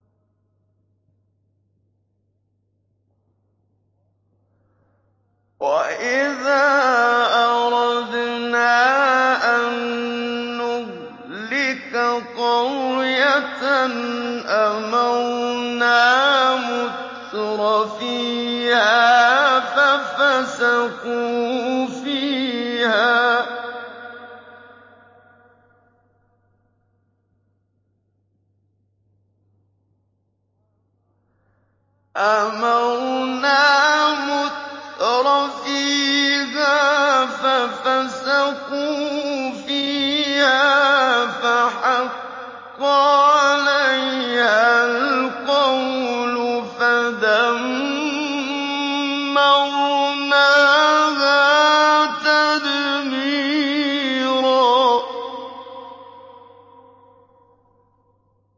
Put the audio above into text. وَإِذَا أَرَدْنَا أَن نُّهْلِكَ قَرْيَةً أَمَرْنَا مُتْرَفِيهَا فَفَسَقُوا فِيهَا فَحَقَّ عَلَيْهَا الْقَوْلُ فَدَمَّرْنَاهَا تَدْمِيرًا